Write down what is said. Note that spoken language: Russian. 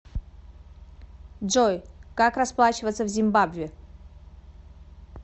джой как расплачиваться в зимбабве